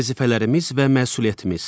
Vəzifələrimiz və məsuliyyətimiz.